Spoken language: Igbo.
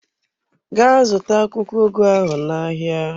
Gaa zụta akwụkwọ ugu ahụ n'ahịa!